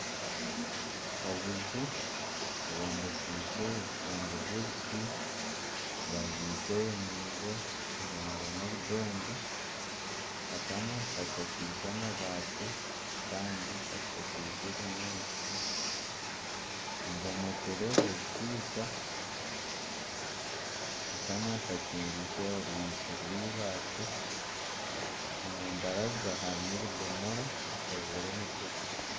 Obuju bwombekiise ebikondo byebiti bubagiise emiingo buhomire n'obudongo akamwe kashakaize amabaati kandi kashakaize ebinyaatsi ebomokire ebisiika akamwe kakingiise orwigi rweibaati risazire emitwe